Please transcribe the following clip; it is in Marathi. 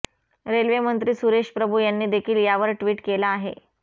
रेल्वेमंत्री सुरेश प्रभू यांनी देखील यावर ट्विट केला आहे